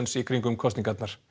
í kringum kosningarnar